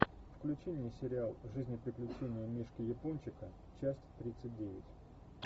включи мне сериал жизнь и приключения мишки япончика часть тридцать девять